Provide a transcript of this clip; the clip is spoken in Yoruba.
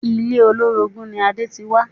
Ilé olórogún ni Adé ti wá